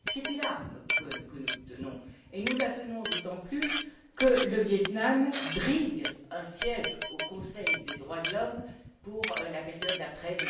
C'est une arme que nous tenons et nous la tenons d'autant plus que le Viêt Nam brigue un siège au Conseil des droits de l'homme pour la période d'après